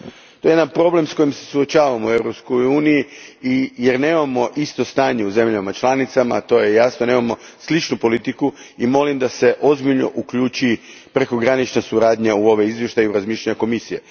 To je problem s kojim se suočavamo u Europskoj uniji, jer nemamo isto stanje u državama članicama, nemamo sličnu politiku i molim da se ozbiljno uključi prekogranična suradnja u ovo izvješće i razmišljanja Komisije.